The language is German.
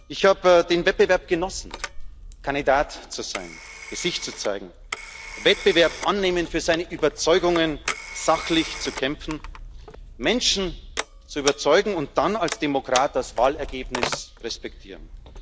Ich habe den Wettbewerb genossen, Kandidat zu sein, Gesicht zu zeigen, den Wettbewerb anzunehmen, für seine Überzeugungen sachlich zu kämpfen, Menschen zu überzeugen und dann als Demokrat das Wahlergebnis zu respektieren.